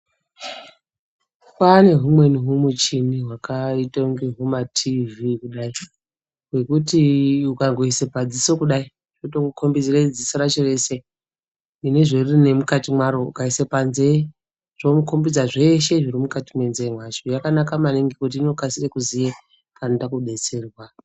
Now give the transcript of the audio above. Kwaane humweni humuchini hwakaite ingateyi humatiivhii kudai hwekuti ukangaise padziso kudai tokukombidze dziso racho reshe nezveriri nemukati mwaro ukaise panzee Inokukombidza zvese zviri mukati mwenzee mwacho yakanaka maningi ngekuti inokasire kuziye panoda kudetserwa.